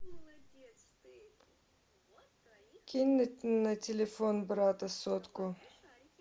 кинуть на телефон брата сотку